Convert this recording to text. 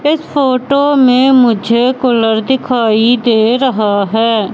इस फोटो में मुझे कूलर दिखाई दे रहा है।